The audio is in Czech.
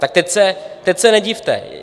Tak teď se nedivte!